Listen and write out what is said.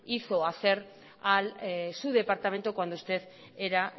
hizo hacer a su departamento cuando usted era